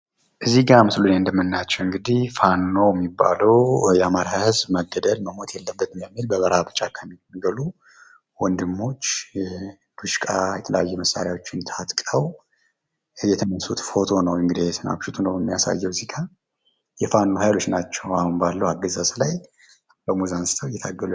ምስሉ ላይ የምንመለከተው ፋኖ ሚባለዉ የአማራ ህዝብ መጨቆን መገደል የለበትም ብለው በጫካ ሚኖሩ ወንድሞች ዲሽቃ የተለያዩ መሳሪያዎችን ታጥቀው የተነሱት ፎቶ ነው ።የፋኖ ቡድኖች ናቸው በአሁኑ አገዛዝ ላይ ከሞት አንስተው እየታገሉ ይገኛሉ።